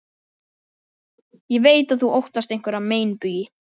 Ég veit að þú óttast einhverja meinbugi.